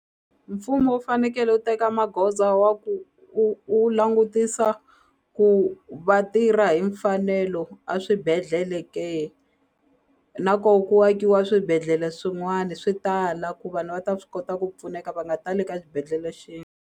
Mfumo wu fanekele wu teka magoza wa ku u u langutisa ku va tirha hi mfanelo a swibedhlele ke na ko ku akiwa swibedhlele swin'wani swi tala ku vanhu va ta swi kota ku pfuneka va nga tali ka xibedhlele .